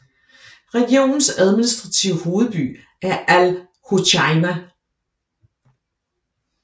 Regionens administrative hovedby er Al Hoceïma